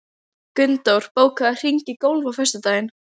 Gunndór, bókaðu hring í golf á föstudaginn.